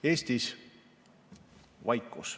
Eestis on vaikus.